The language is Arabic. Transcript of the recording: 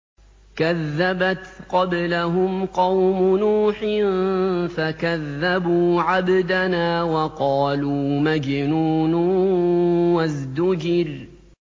۞ كَذَّبَتْ قَبْلَهُمْ قَوْمُ نُوحٍ فَكَذَّبُوا عَبْدَنَا وَقَالُوا مَجْنُونٌ وَازْدُجِرَ